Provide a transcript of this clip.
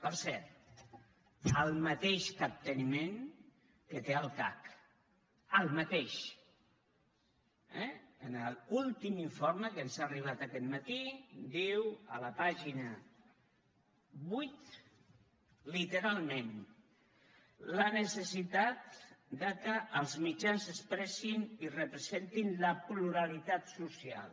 per cert el mateix capteniment que té el cac el mateix eh a l’últim informe que ens ha arribat aquest matí diu a la pàgina vuit literalment la necessitat que els mitjans expressin i representin la pluralitat social